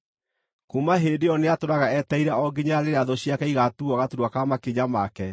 Kuuma hĩndĩ ĩyo nĩatũũraga etereire o nginya rĩrĩa thũ ciake igaatuuo gaturwa ka makinya make,